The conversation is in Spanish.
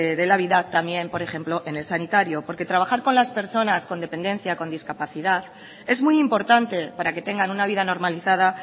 de la vida también por ejemplo en el sanitario porque trabajar con las personas con dependencia con discapacidad es muy importante para que tengan una vida normalizada